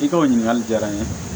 I ka o ɲininkali jara n ye